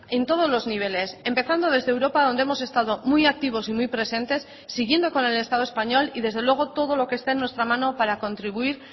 en todos los niveles empezando desde europa donde hemos estado muy activos y muy presentes siguiendo con el estado español y desde luego todo lo que esté en nuestra mano para contribuir